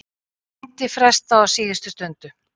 Fundi frestað á síðustu stundu